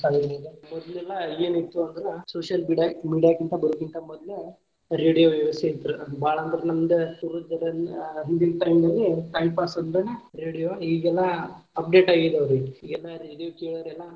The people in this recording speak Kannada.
ಆಗಿರಬಹುದು ಮೊದ್ಲ ಎಲ್ಲಾ ಏನ ಇತ್ತು ಅಂದ್ರ social media media ಕಿಂತ ಬರೊಕಿಂತ ಮೊದ್ಲ radio ವ್ಯವಸ್ಥೆ ಇತ್ತ ಬಾಳ ಅಂದ್ರ ನಮದ time pass ಅಂದ್ರನ radio ಈಗೆಲ್ಲಾ update ಆಗಿದಾವರಿ ಈಗೆಲ್ಲಾ radio ಕೇಳೋರೆಲ್ಲಾ.